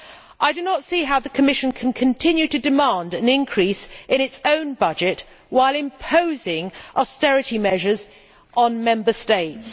I do not see how the Commission can continue to demand an increase in its own budget while imposing austerity measures on Member States.